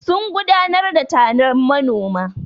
Sun gudanar da taron manoma.